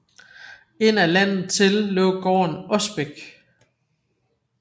Ind ad landet til lå gården Osbæk